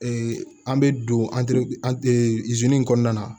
an bɛ don in kɔnɔna na